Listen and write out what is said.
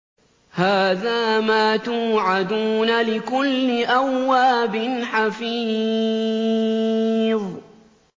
هَٰذَا مَا تُوعَدُونَ لِكُلِّ أَوَّابٍ حَفِيظٍ